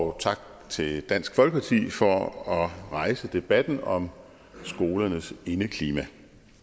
og tak til dansk folkeparti for at rejse debatten om skolernes indeklima